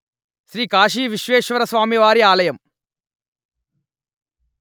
శ్రీ కాశీ విశ్వేశ్వరస్వామివారి ఆలయం